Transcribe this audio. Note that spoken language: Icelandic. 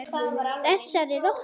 Þessari rottu.